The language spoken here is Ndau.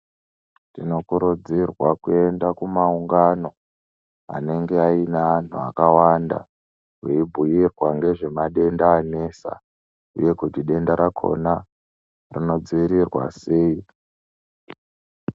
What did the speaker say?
Tinokurudzirwa kuenda kumaungano anenge aine anhu akawanda veibhuirwa nezve madenda anesa uye kuti denda rakona rinodziirirwa sei.